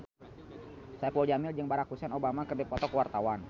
Saipul Jamil jeung Barack Hussein Obama keur dipoto ku wartawan